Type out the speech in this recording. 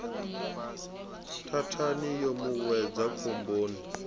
thathani yo mu wedza khomboni